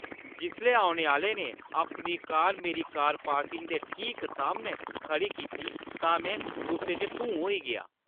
जिसलै औने आह्‌ले ने अपनी कार मेरी कार पार्किंग दे ठीक सामनै खड़ी कीती तां में गुस्से च धूं होई गेआ।